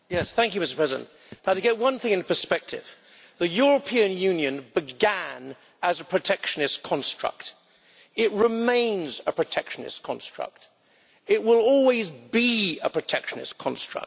Mr President, to get one thing in perspective the European Union began as a protectionist construct, it remains a protectionist construct, it will always be a protectionist construct.